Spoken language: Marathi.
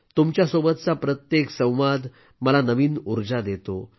तुमच्यासोबतचा प्रत्येक संवाद मला नवीन ऊर्जा देतो